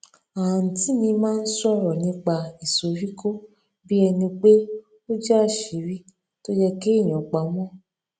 àǹtí mi máa ń sòrò nípa ìsoríkó bí ẹni pé ó jé àṣírí tó yẹ kéèyàn pa mó